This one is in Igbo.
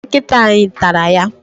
Nkịta anyị tara ya.